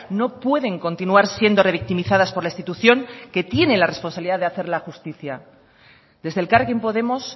no pueden continuar siendo revictimizadas por la institución que tiene la responsabilidad de hacerla justicia desde elkarrekin podemos